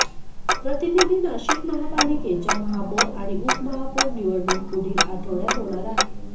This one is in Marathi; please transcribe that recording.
प्रतिनिधी नाशिक महापालिकेच्या महापौर आणि उपमहापौर निवडणूक पुढील आठवड्यात होणार आहे